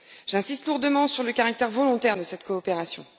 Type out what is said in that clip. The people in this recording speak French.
J'insiste lourdement sur le caractère volontaire de cette coopération.